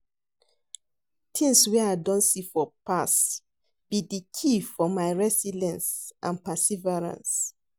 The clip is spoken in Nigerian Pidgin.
Tings wey I don see for past be di key for my resilience and perseverance.